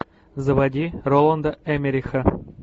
заводи роланда эммериха